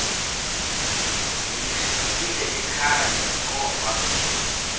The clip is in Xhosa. ndiyishiyile ekhaya koba